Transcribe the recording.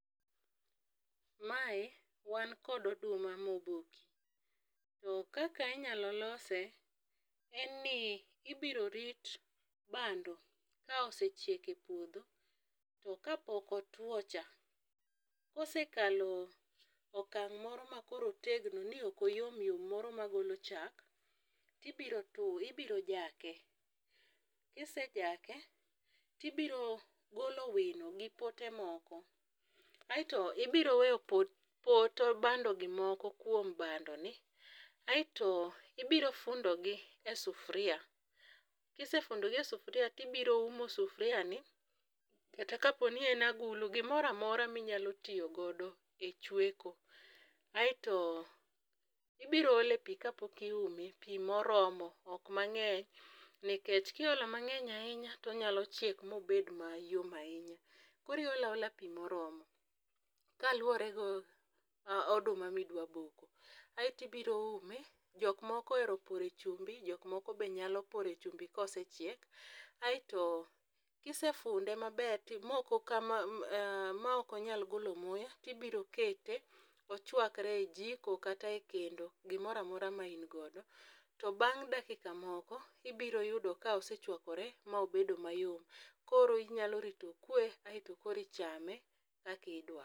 Mae wankod oduma moboki, to kaka inyalo lose en ni ibiro rit bando ka osechiek e puodho to kapok otwo cha kosekalo okang' moro ma koro otegno ni okoyomyom moro magolo chak tibiro jake, kisejake tibiro golo wino gi pote moko aeto ibiro weyo pot bandogi moko kuom bandoni aeto ibiro fundogi e sufria kisefundogi e sufria tibiro umo sufriani kata kaponi en agulu gimoro amora minyalo tiyogodo e chweko aeto ibiro ole pi kapok iume, pi moromo ok mang'eny nikech kiolo mang'eny ahinya tonyalo chiek mobed mayom ahinya, koro iolo aola pi moromo kaluwore gi oduma midwaboko. Aeto ibiro ume jokmoko ohero pore chumbi jokmoko be nyalo pore chumbi kosechiek. Aeto kisefunde maber maokonyal golo muya tibirokete ochwakre e jiko kata e kendo gimoro amora maingodo to bang' dakika moko ibiroyudo ka osechwakore ma obedo mayom, koro inyalo rito okwe aeto koro ichame kaki idwaro.